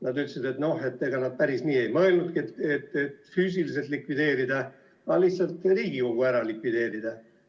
Nad ütlesid, et no ega nad päris nii ei mõelnudki, et füüsiliselt likvideerida, aga lihtsalt Riigikogu ära likvideerida.